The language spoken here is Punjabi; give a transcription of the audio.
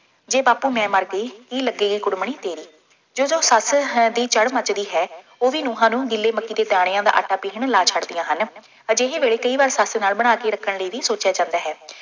ਜੇ ਬਾਪੂ ਮੈਂ ਮਰ ਗਈ ਕੀ ਲੱਗੇਗੀ ਕੁੜਮਣੀ ਤੇਰੀ, ਜਦੋਂ ਸੱਸ ਹੈ ਦੀ ਚੜ੍ਹ ਮੱਚਦੀ ਹੈ, ਉਹ ਵੀ ਨਹੁੰਆਂ ਨੂੰ ਗਿੱਲੀ ਮੱਕੀ ਦੇ ਦਾਣਿਆਂ ਦਾ ਆਟਾ ਪੀਹਣ ਲਾ ਛੱਡਦੀਆਂ ਹਨ। ਅਜਿਹੇ ਵੇਲੇ ਕਈ ਵਾਰ ਸੱਸ ਨਾਲ ਬਣਾ ਕੇ ਰੱਖਣ ਲਈ ਵੀ ਸੋਚਿਆ ਜਾਂਦਾ ਹੈ।